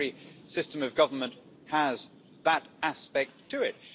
every system of government has that aspect to it.